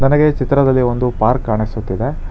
ನನಗೆ ಈ ಚಿತ್ರದಲ್ಲಿ ಒಂದು ಪಾರ್ಕ್ ಕಾಣಿಸುತ್ತಿದೆ.